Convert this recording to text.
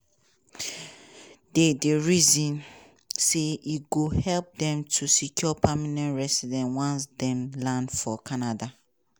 di di reason na say e go help dem to secure permanent recidency once dem land for canada.